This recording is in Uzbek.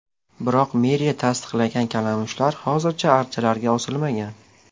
Biroq meriya tasdiqlagan kalamushlar hozircha archalarga osilmagan.